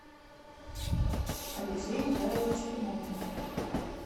алексей михайлович тимонин